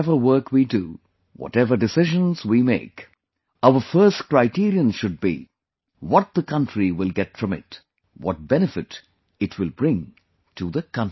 Whatever work we do, whatever decision we make, our first criterion should be... what the country will get from it; what benefit it will bring to the country